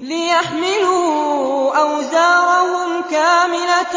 لِيَحْمِلُوا أَوْزَارَهُمْ كَامِلَةً